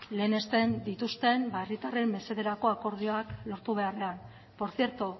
lehenesten dituzten herritarren mesederako akordioak lortu beharrean por cierto